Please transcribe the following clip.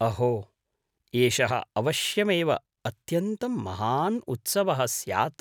अहो, एषः अवश्यमेव अत्यन्तं महान् उत्सवः स्यात्।